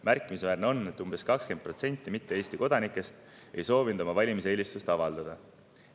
Märkimisväärne on, et umbes 20% mitte Eesti kodanikest ei soovinud oma valimiseelistust avaldada.